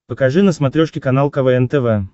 покажи на смотрешке канал квн тв